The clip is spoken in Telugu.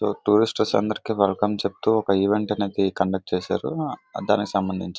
ఇది టూరిస్ట్ అందరికీ వెల్కమ్ చెప్తూ ఒక ఈవెంట్ అనేది కండక్ట్ చేశారు. దానికి సంబంధించింది.